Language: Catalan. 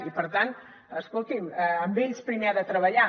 i per tant escolti’m amb ells primer ha de treballar